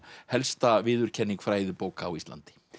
helsta viðurkenning fræðibóka á Íslandi